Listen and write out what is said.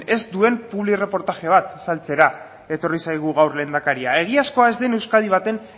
ez duen plubireportaje bat saltzera etorri zaigu gaur lehendakaria egiazkoa ez den euskadi baten